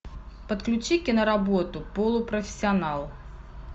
подключи киноработу полупрофессионал